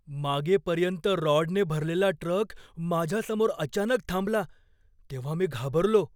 मागेपर्यंत रॉडने भरलेला ट्रक माझ्या समोर अचानक थांबला तेव्हा मी घाबरलो.